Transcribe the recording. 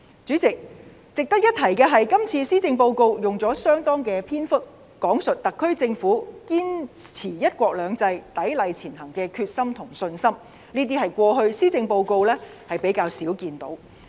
主席，值得一提的是，這次施政報告用了相當的篇幅講述特區政府堅持"一國兩制"，砥礪前行的決心和信心，這些是過去施政報告較少看到的。